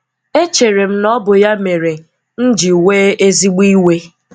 Echere m na ọ bụ ya mere m nji wè ezigbo iwe.